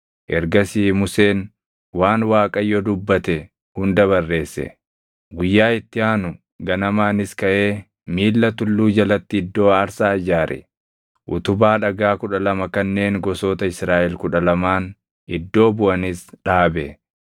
Ergasii Museen waan Waaqayyo dubbatte hunda barreesse. Guyyaa itti aanu ganamaanis kaʼee miilla tulluu jalatti iddoo aarsaa ijaare; utubaa dhagaa kudha lama kanneen gosoota Israaʼel kudha lamaan iddoo buʼanis dhaabe.